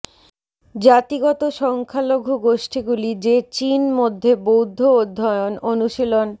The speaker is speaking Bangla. জাতিগত সংখ্যালঘু গোষ্ঠীগুলি যে চীন মধ্যে বৌদ্ধ অধ্যয়ন অনুশীলন